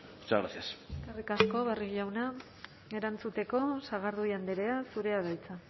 muchas gracias eskerrik asko barrio jauna erantzuteko sagardui andrea zurea da hitza